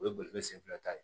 O ye bolifɛn sen fila ta ye